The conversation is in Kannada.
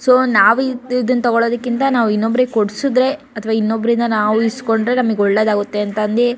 ಸೊ ನಾವು ತಗೋಳದಕ್ಕಿಂತ ಇನ್ನೊಬ್ರಿಗೆ ಕೊಡ್ಸಿದ್ರೆ ಅಥವಾ ನಾವು ಇನ್ನೊಬ್ಬರಿಂದ ನಾವು ಇಸ್ಕೊಂಡ್ರೆ ನಮಗೆ ಒಳ್ಳೇದು ಆಗುತ್ತೆ ಅಂತ ಅಂದಿ--